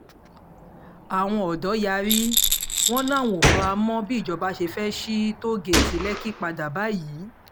àwọn ọ̀dọ́ yarí wọn làwọn ò fara mọ́ bíjọba ṣe fẹ́ẹ́ sí tóò-gẹ̀ẹ́tì lẹ́kì padà báyìí